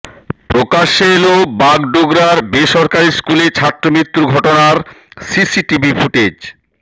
প্রকাশ্যে এল বাগডোগরার বেসরকারি স্কুলে ছাত্রমৃত্যুর ঘটনার সিসিটিভি ফুটেজ